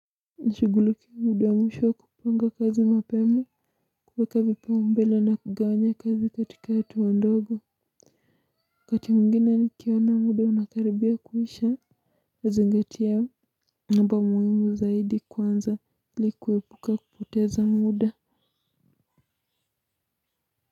Nishigulukie muda wa mwisho kupanga kazi mapema. Kuweka vipau mbele na kugawanya kazi katika hatuwa ndogo wakati muingine ni kiona muda wanakaribia kuisha. Zingatiya mambo muhimu zaidi kwanza ilikuwebuka kupoteza muda.